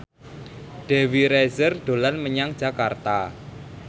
Dewi Rezer dolan menyang Jakarta